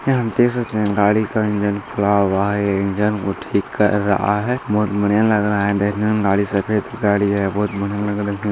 यहाँ हम देख सकते हैं गाड़ी का इंजन खुला हुआ है यह इंजन को ठीक कर रहा है बहुत बढ़िया लग रहा है देखने में गाड़ी सफ़ेद गाड़ी है बहुत बढ़िया लग रहा है।